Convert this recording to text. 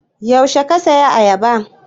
Yaushe ka saya ayaba?